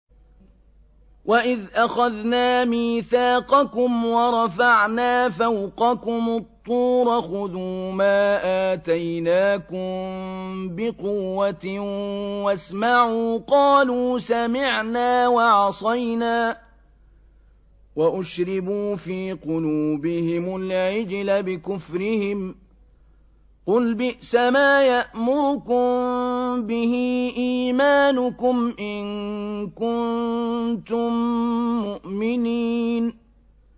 وَإِذْ أَخَذْنَا مِيثَاقَكُمْ وَرَفَعْنَا فَوْقَكُمُ الطُّورَ خُذُوا مَا آتَيْنَاكُم بِقُوَّةٍ وَاسْمَعُوا ۖ قَالُوا سَمِعْنَا وَعَصَيْنَا وَأُشْرِبُوا فِي قُلُوبِهِمُ الْعِجْلَ بِكُفْرِهِمْ ۚ قُلْ بِئْسَمَا يَأْمُرُكُم بِهِ إِيمَانُكُمْ إِن كُنتُم مُّؤْمِنِينَ